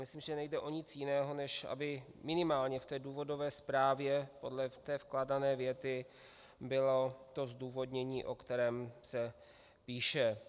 Myslím, že nejde o nic jiného, než aby minimálně v té důvodové zprávě podle té vkládané věty bylo to zdůvodnění, o kterém se píše.